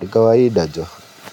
ni kawaida joh.